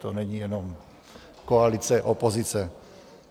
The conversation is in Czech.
To není jenom koalice, opozice.